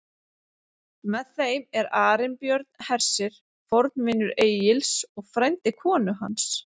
Með þeim er Arinbjörn hersir, fornvinur Egils og frændi konu hans.